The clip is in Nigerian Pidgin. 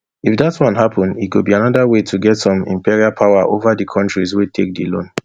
if dat one happun e go be anoda way to get some imperial power ova di kontris wey take di loan